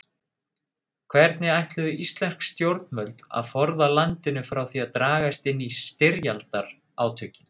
Hvernig ætluðu íslensk stjórnvöld að forða landinu frá því að dragast inn í styrjaldarátökin?